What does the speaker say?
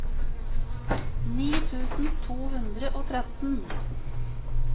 ni tusen to hundre og tretten